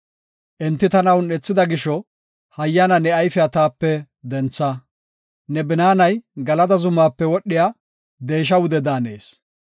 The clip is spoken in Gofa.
Enti tana un7ethida gisho, hayyana ne ayfiya taape dentha. Ne binaanay Galada zumaape wodhiya, deesha wude daanees.